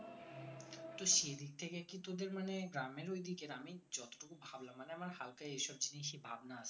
তো সেদিক থেকে কি তোদের মানে গ্রামের ওইদিকে আমি যতটুকু ভাবলাম মানে আমার হালকা এইসব জিনিস এ ভাবনা আছে